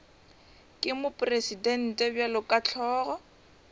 ke mopresidente bjalo ka hlogo